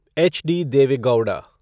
H.D.. Deve Gowda